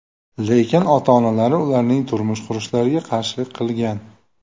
Lekin ota-onalari ularning turmush qurishlariga qarshilik qilgan.